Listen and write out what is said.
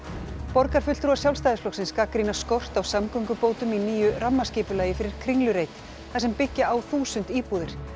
borgarfulltrúar Sjálfstæðisflokksins gagnrýna skort á samgöngubótum í nýju rammaskipulagi fyrir Kringlureit þar sem byggja á þúsund íbúðir